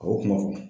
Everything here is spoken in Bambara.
A y'o kuma fɔ